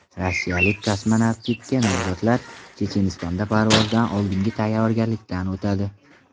Rossiyalik kosmonavtlikka nomzodlar Chechenistonda parvozdan oldingi tayyorgarlikdan o‘tadi.